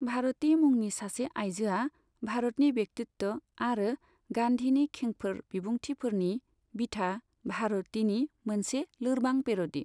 भारती मुंनि सासे आइजोआ, भारतनि व्यक्तित्व आरो गान्धीनि खेंफोर बिबुंथिफोरनि बिथा भारतीनि मोनसे लोरबां पेर'डी।